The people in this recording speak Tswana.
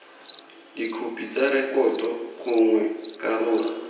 dikhopi tsa rekoto gongwe karolo